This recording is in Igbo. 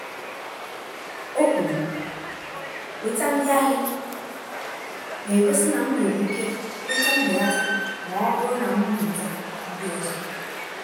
ọ kwuru “weta ndị ahịa” na-egosi na m nwere ike nweta mbelata um ma ọ bụrụ na m weta ndị ọzọ.